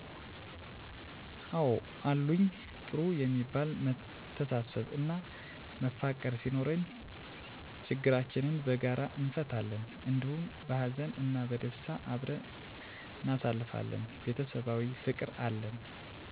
አዎ አሉኝ ጥሩ የሚባል መተሳሰብ እና መፋቀር ሲኖረን ችግራችንን በጋራ እንፈታለን እንዲሁም በሃዘን እና በደስታ አብረን እናሳልፋለን ቤተሰባዊ ፍቅር አለን።